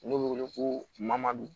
N'o bɛ wele ko mamadu